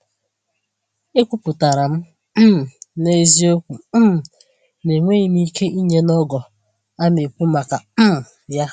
Ekwuputara m um n’eziokwu um na enweghị m ike inye n’ogo a n'ekwu maka um ya.